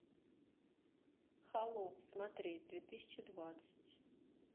холоп смотреть две тысячи двадцать